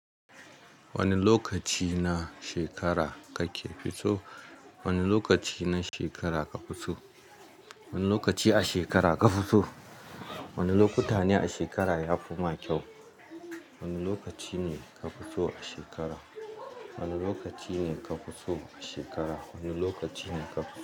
Wani lokaci na shekara kake fitso? Wane lokaci na shekara ka fitso? Wani lokaci a shekara ka fi so? Wani lokuta ne a shekara yafi ma kyau? Wani lokaci ne ka fi so a shekara? Wani lokaci ne ka fi so a shekara? Wani lokaci ne ka fi.